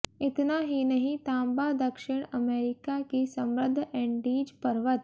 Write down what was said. इतना ही नहीं तांबा दक्षिण अमेरिका की समृद्ध एंडीज पर्वत